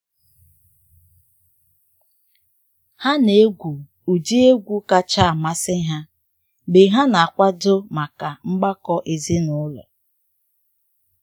Ha na egwu ụdị um egwu kacha amasị ha mgbe ha na akwado maka mgbakọ ezinụlọ.